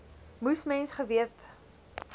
moes mens geweet